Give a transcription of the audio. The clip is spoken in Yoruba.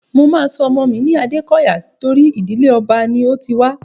Mo máa sọ ọmọ mi ní Adékọyà tóri ìdíle ọba ni mo ti wá.